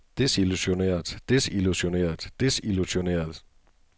desillusioneret desillusioneret desillusioneret